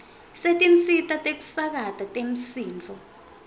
setinsita tekusakata temsindvo